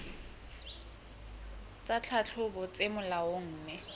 tsa tlhahlobo tse molaong mme